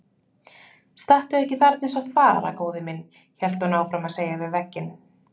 Stattu ekki þarna eins og þvara góði minn, hélt hún áfram að segja við vegginn.